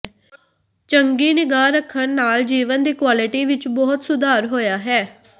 ਚੰਗੀ ਨਿਗਾਹ ਰੱਖਣ ਨਾਲ ਜੀਵਨ ਦੀ ਕੁਆਲਿਟੀ ਵਿੱਚ ਬਹੁਤ ਸੁਧਾਰ ਹੋਇਆ ਹੈ